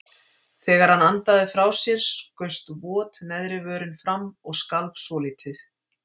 Þegar hann andaði frá sér skaust vot neðri vörin fram og skalf svolítið.